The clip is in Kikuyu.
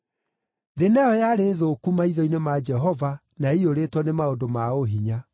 Thĩ nayo yarĩ thũku maitho-inĩ ma Jehova na yaiyũrĩtwo nĩ maũndũ ma ũhinya.